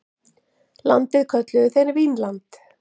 Landið kölluðu þeir Vínland.